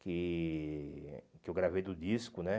Que que eu gravei do disco, né?